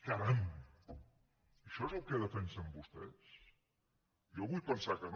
caram això és el que defensen vostès jo vull pensar que no